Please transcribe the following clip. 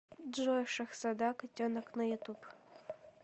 джой шахзода котенок на ютуб